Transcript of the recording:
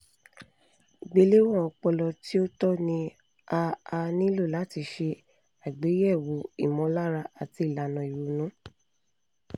ìgbéléwọ̀n ọpọlọ tí ó tọ́ ni a a nílò láti ṣe àgbéyẹ̀wò ìmọ̀lára àti ìlànà ìrònú